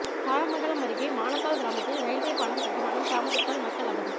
தாரமங்கலம் அருகே மானத்தாள் கிராமத்தில் ரயில்வே பாலம் கட்டுமானம் தாமதத்தால் மக்கள் அவதி